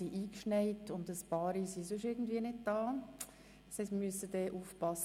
Wir müssen aufpassen, dass wir nicht beschlussunfähig werden.